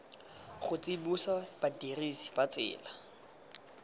go tsibosa badirisi ba tsela